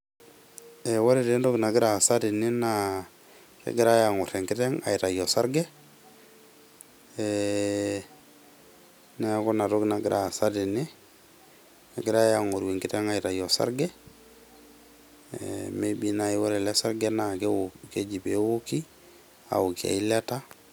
Ee ore taa entoki nagira aasa tene naa kegirae angor enkiteng aitayu osarge ee niaku ina toki nagira aasa tene , egirae angor enkiteng aitayu osarge ee maybe naji ore ele sarge naa keoki , keji peeoki , aokie eilata.